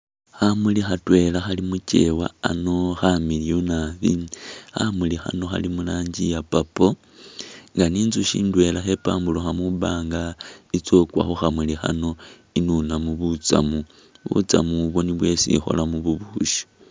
Khamuli khatwela khali mu kyeewa ano khamiliyu nabi, khamuli khano khali mu rangi iya purple nga ni inzusyi ndwela khepamburukha mwibaanga ikheetsa ukwa khu khamuli khano inunemu butsamu, butsamu ubwo nibwo isi ikholamu bubusyi.